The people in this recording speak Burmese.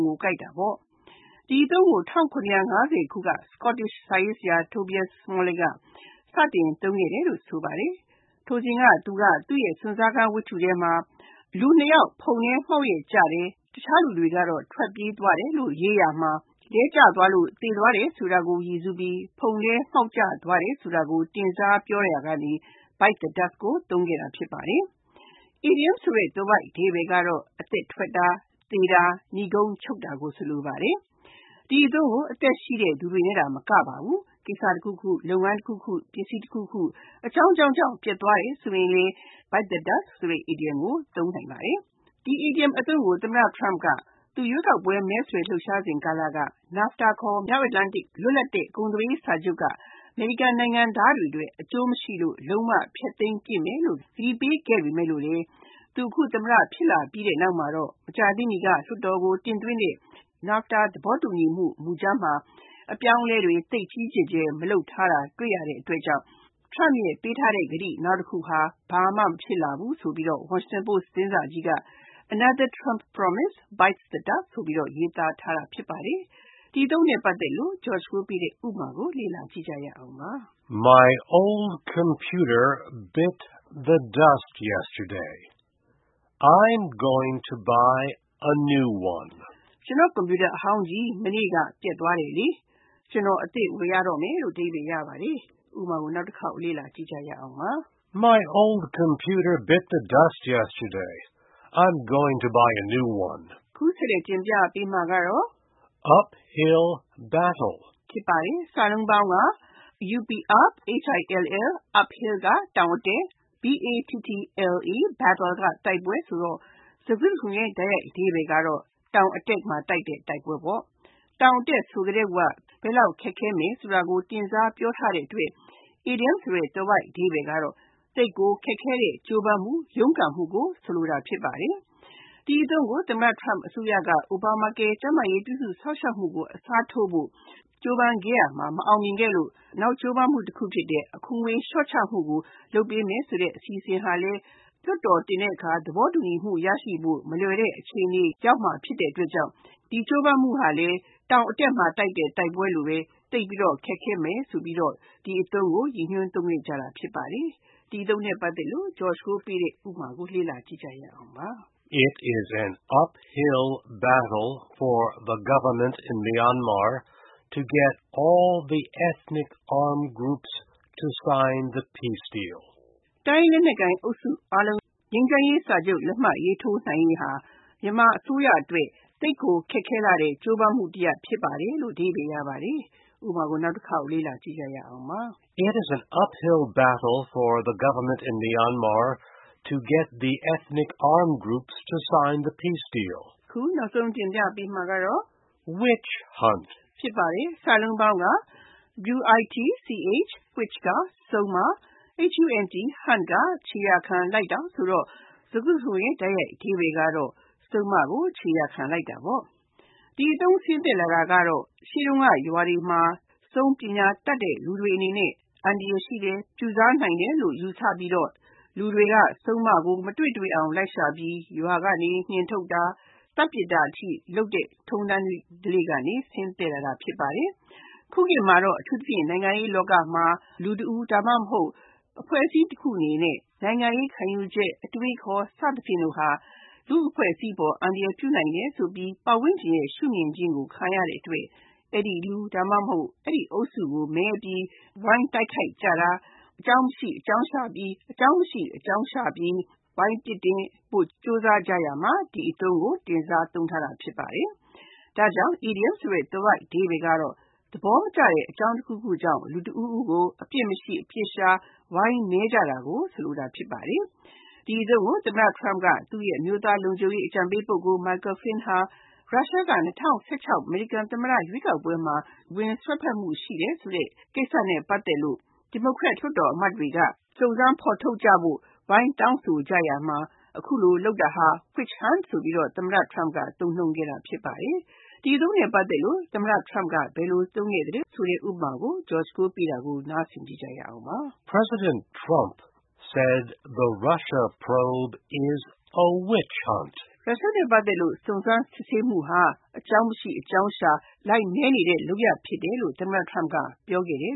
ကိုကိုက်တာဖြစ်ပါတယ်။ ဒီအသုံးကို ၁၇၅၀ ခုက Scottish စာရေးဆရာ Tobias Smollett က စတင်သုံးခဲ့တယ်လို့ ဆိုပါတယ်။ ထိုစဉ်က သူက သူ့ရဲ့ စွန့်စားခန်းဝထ္တုထဲမှာ လူနှစ်ယောက် ဖုန်ထဲမှောက်ရက်ကျတယ်၊ တခြားလူတွေက ထွက်ပြေးသွားတယ်လို့ ရေးရာမှာ လဲကျသွားလို့ သေသွားတယ်ဆိုတာကို ရည်စူးပြီး ဖုန်ထဲမှောက်ကျသွားတယ်ဆိုတာကို တင်စားပြောရာမှာ Bite the dust ကို သုံးခဲ့တာ ဖြစ်ပါတယ်။ အီဒီယံသွယ်ဝိုက်အဓိပ္ပါယ်ကတော့ အသက်ထွက်တာ၊ သေတာ၊ နိဂုံးချုပ်တာ၊ မြန်မာဘန်းစကားမှာတော့ကိစ္စချောတာကို ဆိုလိုပါတယ်။ ဒီအသုံးကို လူတွေနဲ့သာမကပါဘူး ကိစ္စတခုခု၊ လုပ်ငန်းတခုခု၊ ပစ္စည်းတခုခု အကြောင်းကြောင်းကြောင့် ပျက်သွားတယ်ဆိုရင်လဲ Bite the dust အီဒီယံကို သုံးနိုင်ပါတယ်။ ဒီအီဒီယံကို သမ္မတ Trump က သူ ရွေးကောက်ပွဲ မဲဆွယ်လှုပ်ရှားစဉ်ကာလ NAFTA ခေါ် မြောက်အမေရိက လွတ်လပ်တဲ့ ကုန်သွယ်ရေးစာချုပ်က အမေရိကန်နိုင်ငံသားတွေအတွက် အကျိုးမရှိလို့ လုံးဝဖျက်သိမ်းပစ်မယ်လို့ ကတိပေးခဲ့ပေမယ့်လို့လဲ သူ အခု သမ္မတ ဖြစ်လာပြီးနောက်မှာတော့ မကြာသေးမီက လွှတ်တော်ကို တင်သွင်းတဲ့ NAFTA သဘောတူညီမှု မူကြမ်းမှာ အပြောင်းအလဲတွေ သိပ်ကြီးကြီးမားမား လုပ်ထားတာမတွေ့ရတဲ့အတွက် Trump အနေနဲ့သူပေးထားတဲ့ နောက်ကတိတခုလဲ ဘာမှဖြစ်မလာဘူးဆိုပြီး Washington Post သတင်းစာကြီးက “Another Trump promise bites the dust” ဆိုပြီး ရေးသားခဲ့တာဖြစ်ပါတယ်။ ဒီအသုံးအနှုန်း ရဲ့ဥပမာကို လေ့လာကြည့်ရအောင်ပါ။ My old computer bit the dust yesterday. I’m going to buy a new one. ကျနော့် ကွန်ပြူတာအဟောင်းကြီး မနေ့က ပျက်သွားတယ်။ ကျနော် အသစ်တလုံး ဝယ်ရတော့မယ်။ (၂) Uphill battle Uphill (တောင်အတက်)၊ battle (တိုက်ပွဲ) ဖြစ်ပြီး၊ စကားစုတခုလုံးရဲ့ လုံးကောက်အဓိပ္ပါယ်က တောင်အတက်မှာ တိုက်တဲ့တိုက်ပွဲ ဖြစ်ပါတယ်။ တောင်အတက်ဆိုကတည်းက ဘယ်လောက်ခက်ခဲမယ်ဆိုတာကို တင်စားပြောထားတဲ့အတွက် အီဒီယံသွယ်ဝိုက်အဓိပ္ပါယ်က သိပ်ကိုခက်ခဲတဲ့ ကြိုးပမ်းမှု၊ ရုန်းကန်မှုကို ဆိုလိုတာ ဖြစ်ပါတယ်။ ဒီအသုံးကို သမ္မတ Trump အစိုးရက Obamacare ကျန်းမာရေးပြုစုစောင့်ရှောက်မှုကို အစားထိုးဖို့ ကြိုးပမ်းရာမှာ အောင်မြင်မှုမရခဲ့သလို၊ နောက်ကြိုးပမ်းမှုတခုဖြစ်တဲ့ အခွန်ငွေလျှော့ချဖို့လုပ်ပေးမယ်ဆိုတဲ့ အစီအစဉ်ဟာလဲ လွှတ်တော်တင်တဲ့အခါ သဘောတူညီမှု ရနိုင်ဖို့ မလွယ်တဲ့ အခြေအနေ နဲ့တွေ့ကြုံဖို့ရှိတဲ့အတွက် ဒီကြိုးပမ်းမှုဟာလဲ တောင်အတက်မှာတိုက်တဲ့ တိုက်ပွဲလိုပဲ သိပ်ပြီးတော့ ခက်ခဲမယ်ဆိုပြီးတော့ Uphill battle အီဒီယံကို ရည်ညွှန်းသုံးခဲ့ကြတာ ဖြစ်ပါတယ်။ ဒီအသုံးနဲ့ ပတ်သက်တဲ့ ဥပမာကိုလေ့လာကြည့်ရအောင်ပါ။ It’s an uphill battle for the Myanmar government to get all the ethnic armed groups to sign the peace deal. တိုင်းရင်းသားလက်နက်ကိုင်အုပ်စုတွေအားလုံး ငြိမ်းချမ်းရေးစာချုပ် လက်မှတ်ရေးထိုးနိုင်ရေးဟာ မြန်မာအစိုးရအတွက် သိပ်ကိုခက်ခဲလှတဲ့ ကြိုးပမ်းမှုတရပ် ဖြစ်ပါတယ်။ (၃) Witch hunt Witch (စုန်:)၊ Hunt (ခြေရာခံလိုက်တာ) ဆိုတော့ စကားစုတခုလုံးရဲ့ တိုက်ရိုက်အဓိပ္ပါယ်က စုန်းကို ခြေရာခံလိုက်တာ ဖြစ်ပါတယ်။ ဒီအသုံးဆင်းသက်လာတာကတော့ ရှေ့တုန်းက ရွာတွေမှာ စုန်းပညာတတ်တဲ့ လူတွေဟာ အန္တရာယ်ရှိတယ်၊ ပြုစားနိုင်တယ်လို့ ယူဆပြီး လူတွေက စုန်းကို မတွေ့တွေ့အောင် လိုက်ရှာပြီး ရွာကနေ နှင်းထုတ်တာ၊ မီးရှို့သတ်ပြစ်တာအထိ လုပ်တဲ့ အစဉ်အလာကနေ ဆင်းသက်လာတာ ဖြစ်ပါတယ်။ ခုခေတ်မှာတော့ နိုင်ငံရေးလောကမှာ လူတဦး ဒါမှမဟုတ် အဖွဲ့အစည်းတခုရဲ့နိုင်ငံရေး ခံယူချက်၊ အတွေးအခေါ် စသဖြင့်ဟာ လူ့အဖွဲ့အစည်းကို အန္တရာယ်ပြုနိုင်တယ်ဆိုပြီး ပတ်ဝန်းကျင်ရဲ့ ရှုမြင်ခြင်းကို ခံရတဲ့အတွက် အဲဒီလူ ဒါမှမဟုတ် အဲဒီအုပ်စုကို မဲပြီး ဝိုင်းတိုက်ခိုက်ကြတာ၊ အကြောင်းမရှိ အကြောင်းရှာပြီး ဝိုင်းပြစ်တင်ဖို့ ကြိုးစားကြရာမှာ ဒီအသုံးကို တင်စားသုံးထားတာ ဖြစ်ပါတယ်။ ဒါကြောင့် အီဒီယံသွယ်ဝိုက်အဓိပ္ပါယ်က သဘောမကျတဲ့ အကြောင်းတခုခုကြောင့် လူတဦးဦးကို အပြစ်မရှိ၊ အပြစ်ရှာ ဝိုင်းမဲကြတာကို ဆိုလိုတာ ဖြစ်ပါတယ်။ ဒီအသုံးကို သမ္မတ Trump ရဲ့ အမျိုးသားလုံခြုံရေးအကြံပေး ပုဂ္ဂိုလ် Michael Flynn ဟာ ရုရှားက ၂၀၁၆ အမေရိကန်သမ္မတ ရွေးကောက်ပွဲမှာ ဝင်ရောက်စွက်ဖက်မှုရှိတယ်ဆိုတဲ့ ကိစ္စနဲ့ ပတ်သက်လို့ ဒီမိုကရက်လွှတ်တော်အမတ်တွေက စုံစမ်းဖော်ထုတ်ကြဖို့ သဲသဲမဲမဲဝိုင်းတောင်းဆိုကြရာမှာ အခုလို လုပ်တာဟာ Witch hunt ဆိုပြီး သမ္မတ Trump က သုံးနှုန်းခဲ့တာ ဖြစ်ပါတယ်။ ဒီအသုံးနဲ့ ပတ်သက်လို့ သမ္မတ Trump က ဘယ်လိုသုံးခဲ့သလဲ ဥပမာကို လေ့လာကြည့်ရအောင်ပါ။ President Trump said Russia probe is a witch hunt. ရုရှားနဲ့ ပတ်သက်တဲ့ စုံစမ်းစစ်ဆေးမှုဟာ အကြောင်းမရှိ အကြောင်းရှာ ဝိုင်းမဲနေတဲ့ လုပ်ရပ်ဖြစ်တယ်လို့ သမ္မတ Trump ကပြောခဲ့တယ်